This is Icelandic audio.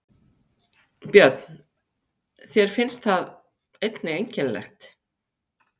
Björn: Þér finnst það einnig einkennilegt?